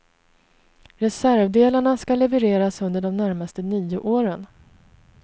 Reservdelarna ska levereras under de närmaste nio åren.